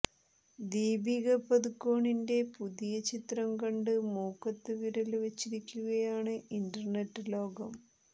ദീപിക പദുകോണിന്റെ പുതിയ ചിത്രം കണ്ട് മൂക്കത്തുവിരല് വച്ചിരിക്കുകയാണ് ഇന്റര്നെറ്റ് ലോകം